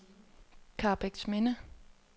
Karrebæksminde